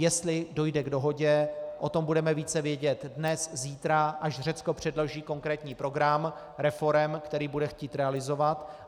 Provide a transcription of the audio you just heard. Jestli dojde k dohodě, o tom budeme více vědět dnes, zítra, až Řecko předloží konkrétní program reforem, který bude chtít realizovat.